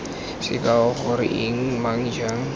sekao goreng eng mang jang